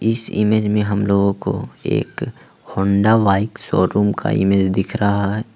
इस इमेज में हमलोगो को एक होंडा बाइक शोरूम का इमेज दिख रहा है।